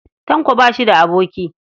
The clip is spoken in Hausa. Tanko ba shi da aboki.